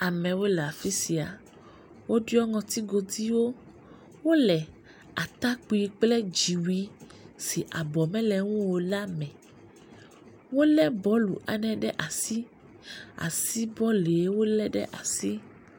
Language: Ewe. Amewo le afi sia. Wodo ŋɔtigodiwo. Wodo atakpui kple dziwui si abɔ mele eŋu o la me. Wolé bɔlu ɖe, ɖe asi. Asi bɔlue wolé ɖe asi.